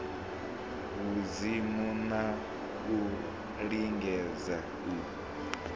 vhudzimu na u lingedza u